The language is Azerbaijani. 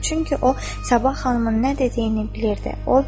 Çünki o, Sabah xanımın nə dediyini bilirdi.